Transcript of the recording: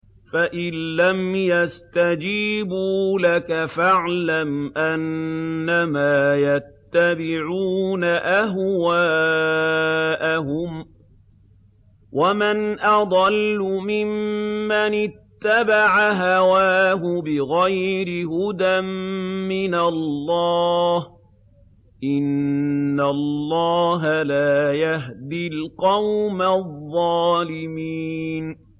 فَإِن لَّمْ يَسْتَجِيبُوا لَكَ فَاعْلَمْ أَنَّمَا يَتَّبِعُونَ أَهْوَاءَهُمْ ۚ وَمَنْ أَضَلُّ مِمَّنِ اتَّبَعَ هَوَاهُ بِغَيْرِ هُدًى مِّنَ اللَّهِ ۚ إِنَّ اللَّهَ لَا يَهْدِي الْقَوْمَ الظَّالِمِينَ